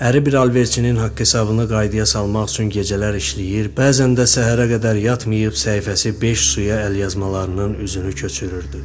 Əri bir alverçinin haqq-hesabını qaydaya salmaq üçün gecələr işləyir, bəzən də səhərə qədər yatmıyıb səhifəsi beş suya əlyazmalarının üzünü köçürürdü.